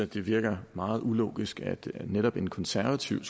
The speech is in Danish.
det virker meget ulogisk at netop en konservativ